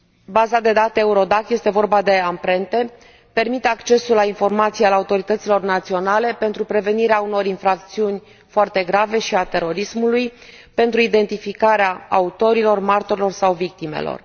Baza de date Eurodac este vorba de amprente permite accesul la informație al autorităților naționale pentru prevenirea unor infracțiuni foarte grave și a terorismului, pentru identificarea autorilor, martorilor sau victimelor.